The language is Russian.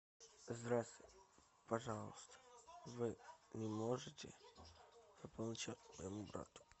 здравствуйте пожалуйста вы не можете пополнить счет моему брату